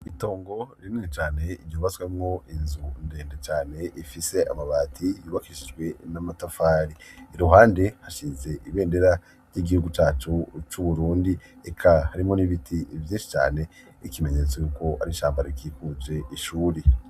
itongo rinini cane ryubaswemwo inzu ndende cane ifise amabati yibakishijwe n'amatafari iruhande hashize ibendera ry'igihugu ryacu c'uburundi eka harimwo n'ibiti vyinshi cane ikimenyetso yuko arishamba rikikuje ishuri